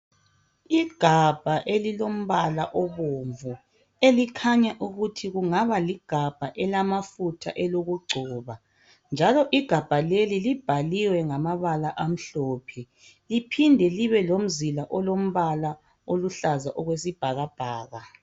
Igabha elilombala obomvu, elikhanya ukuthi kungaba ligabha elamafutha elokugcoba, njalo igabha leli libhaliwe ngamabala amhlophe, liphinde libe lomzila olombala oluhlaza okwesibhakabhaka.